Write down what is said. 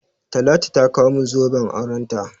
Talatu ta kawo min zoben aurenta.